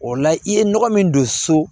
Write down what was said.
O la i ye nɔgɔ min don so